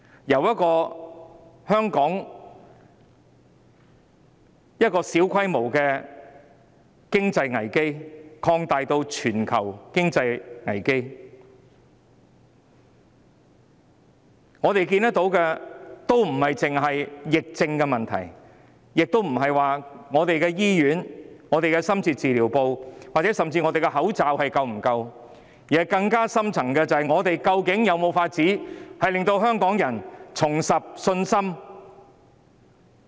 由香港的小規模經濟危機擴大至全球經濟危機，我們看到這不單是疫症的問題，亦不是香港的醫院和深切治療部服務，甚至口罩數量是否足夠的問題，更深層的問題是，究竟我們有沒有辦法令香港人重拾信心？